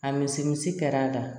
A misimisi kɛra a da